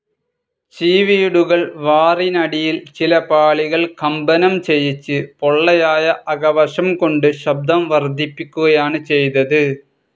ചിവീടുകൾ വാറിനടിയിൽ ചില പാളികൾ കമ്പനം ചെയ്യിച്ച് പൊള്ളയായ അകവശം കൊണ്ട് ശബ്ദം വർധിപ്പിക്കുകയാണ് ചെയ്തത്.